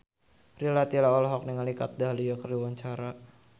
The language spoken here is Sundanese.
Rita Tila olohok ningali Kat Dahlia keur diwawancara